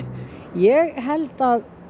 ég held að